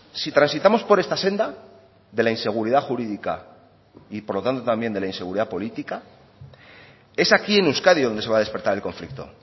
si transitamos por esta senda de la inseguridad jurídica y por lo tanto también de la inseguridad política es aquí en euskadi donde se va a despertar el conflicto